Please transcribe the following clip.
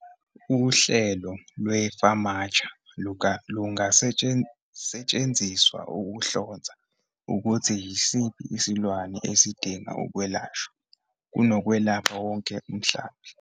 Uhlelo lwe-FAMACHA lungasetshenziswa ukuhlonza ukuthi yisiphi isilwane esidinga ukwelashwa - kunokwelapha wonke umhlambi.